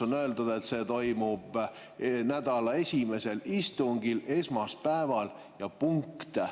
On öeldud, et see toimub nädala esimesel istungil, esmaspäeval, ja punkt.